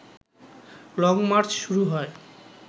long march শুরু হয়